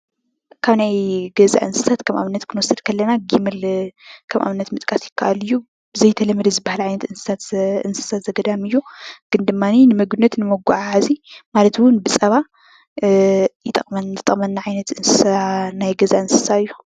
ካብ ናይ ገዛ እንስሳት ከም አብነት ክንወስድ ከለና ግመል ከም አብነት ምጥቃስ ይከአል እዩ፡፡ ብዘይተለመደ ዝበሃል ዓይነት እንስሳት እንስሳ ዘገዳም እዩ፡፡ ግን ድማኒ ንምግቢነት፣ ንመጓዓዓዚ ማለት እውን ብፀባ ይጠቅመ ዝጠቅመና ዓይነት እንስሳ ናይ ገዛ እንስሳ እዩ፡፡